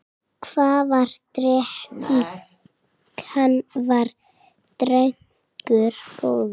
Hann var drengur góður.